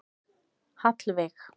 Hallveig